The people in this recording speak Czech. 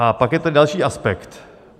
A pak je ten další aspekt.